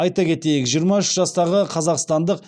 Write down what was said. айта кетейік жиырма үш жастағы қазақстандық